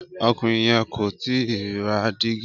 Ọkùnrin yẹn kò tíì ra dígi.